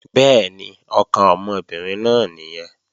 Bẹ́ẹ̀ni, ọkàn ọmọbìnrin náà nìyẹn